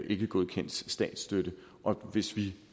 ikkegodkendt statsstøtte og hvis vi